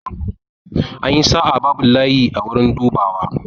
An yi sa'a, babu layi a wurin dubawa.